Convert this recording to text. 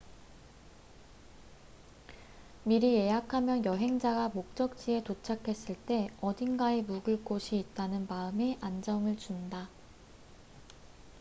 미리 예약하면 여행자가 목적지에 도착했을 때 어딘가에 묵을 곳이 있다는 마음의 안정을 준다